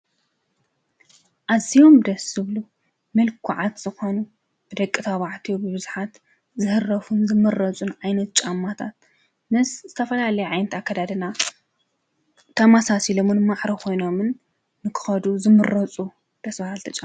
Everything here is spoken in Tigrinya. ኣዝዮም ደስ ዝብሉ ምልኩዓት ዝኮኑ ደቂ ተባዕትዮ ብቡዙሓት ዝህረፉን ዝምረፁን ዓይነት ጫማታት ምስ ዝተፈላለዩ ዓይነት ኣከዳድና ተመሳሲሎምን ማዕረ ኮይኖምን ክከዱ ዝምረፁ ደስ በሃልቲ ጫማ::